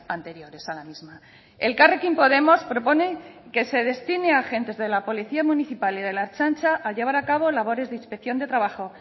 anteriores a la misma elkarrekin podemos propone que se destine a agentes de la policía municipal y del ertzaintza a llevar a cabo labores de inspección de trabajo